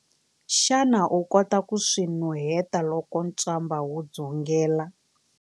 Xana u kota ku swi nuheta loko ntswamba wu dzungela?